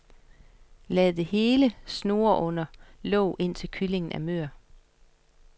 Lad det hele snurre under låg, indtil kyllingen er mør.